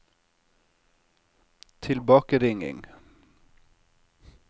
tilbakeringing